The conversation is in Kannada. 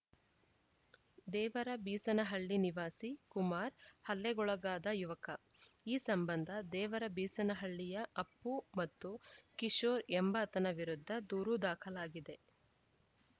ದೇವರಬೀಸನಹಳ್ಳಿ ನಿವಾಸಿ ಕುಮಾರ್‌ ಹಲ್ಲೆಗೊಳಗಾದ ಯುವಕ ಈ ಸಂಬಂಧ ದೇವರಬೀಸನಹಳ್ಳಿಯ ಅಪ್ಪು ಮತ್ತು ಕಿಶೋರ್‌ ಎಂಬಾತನ ವಿರುದ್ಧ ದೂರು ದಾಖಲಾಗಿದೆ